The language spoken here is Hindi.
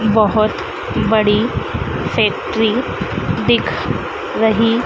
बहुत बड़ी फैक्ट्री दिख रही--